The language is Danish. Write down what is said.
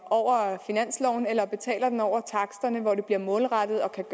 og over finansloven eller betaler den over taksterne hvor det bliver målrettet og kan